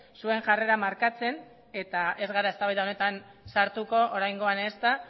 zuen jarrera markatzen eta ez gara eztabaida honetan sartuko oraingoan ezta